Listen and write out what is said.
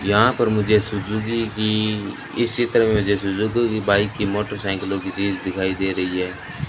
यहां पर मुझे सुजुकी की इस चित्र में मुझे सुजुकी बाइक की मोटरसाइकिलों की चीज दिखाई दे रही है।